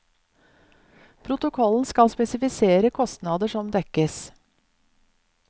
Protokollen skal spesifisere kostnader som dekkes.